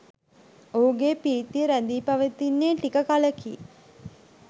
ඔහුගේ ප්‍රීතිය රැඳී පවතින්නේ ටික කලකි.